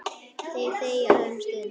Þeir þegja um stund.